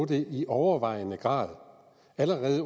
det i overvejende grad allerede